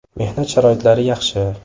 Mehnat sharoitlari yaxshi.